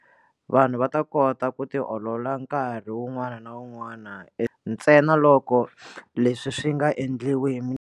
Vanhu va ta kota ku tiolola nkarhi wun'wana na wun'wana ntsenaloko leswi swi nga endliwi.